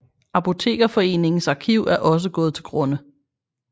Apotekerforeningens arkiv er også gået til grunde